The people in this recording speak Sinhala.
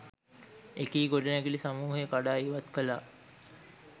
එකී ගොඩනැගිලි සමූහය කඩා ඉවත් කළා.